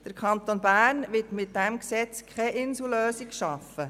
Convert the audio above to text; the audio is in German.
Der Kanton Bern wird mit diesem Gesetz keine Insellösung schaffen.